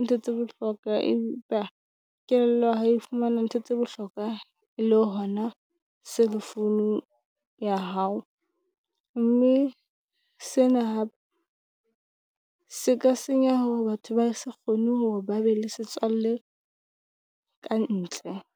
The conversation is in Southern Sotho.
ntho tse bohlokwa. Empa kelello ha e fumana ntho tsa bohlokwa le hona cell phone ya hao, mme sena se ka senya hore batho ba se kgone hore ba be le setswalle ka ntle.